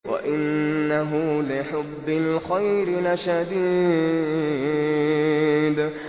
وَإِنَّهُ لِحُبِّ الْخَيْرِ لَشَدِيدٌ